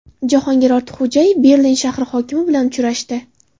Jahongir Ortiqxo‘jayev Berlin shahri hokimi bilan uchrashdi.